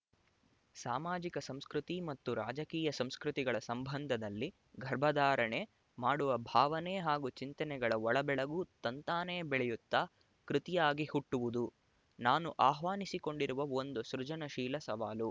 ಸಾಮಾಜಿಕ ಸಂಸ್ಕೃತಿ ಮತ್ತು ರಾಜಕೀಯ ಸಂಸ್ಕೃತಿ ಗಳ ಸಂಬಂಧದಲ್ಲಿ ಗರ್ಭಧಾರಣೆ ಮಾಡುವ ಭಾವನೆ ಹಾಗೂ ಚಿಂತನೆಗಳ ಒಳಬೆಳಗು ತಂತಾನೆ ಬೆಳೆಯುತ್ತ ಕೃತಿಯಾಗಿ ಹುಟ್ಟುವುದು ನಾನು ಆಹ್ವಾನಿಸಿಕೊಂಡಿರುವ ಒಂದು ಸೃಜನಶೀಲ ಸವಾಲು